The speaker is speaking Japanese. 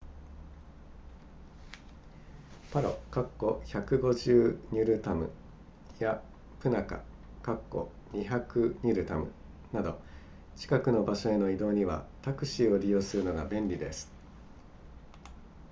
パロ150ニュルタムやプナカ200ニュルタムなど近くの場所への移動にはタクシーを利用するのが便利です